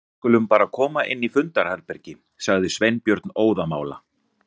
Við skulum bara koma inn í fundarherbergi- sagði Sveinbjörn óðamála.